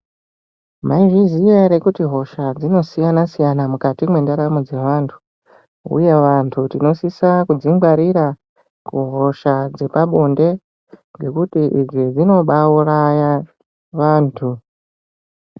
Mai zviziya ere kuti hosha dzinosiyana siyana mukati mwendaramo dzevantu uye vantu tinosisa kudzi ngwarira kuhosha dzepabonde ngekuti idzi dzinobaauraya vantu.